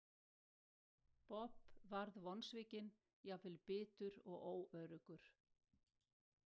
Bob varð vonsvikinn, jafnvel bitur og óöruggur.